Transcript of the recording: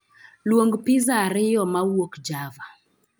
Luong pizza ariyo mawuok java